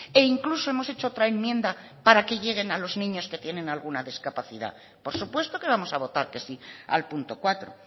e incluso hemos hecho otra enmienda para que lleguen a los niños que tienen alguna discapacidad por supuesto que vamos a votar que sí al punto cuatro